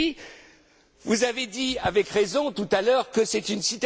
Et puis, vous avez dit, avec raison tout à l'heure que c'est